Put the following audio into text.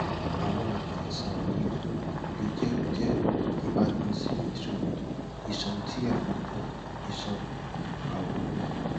awọn aami aisan wọnyi um le jẹ jẹ ibatan si iṣoro iṣan ti awọn um iṣan awọ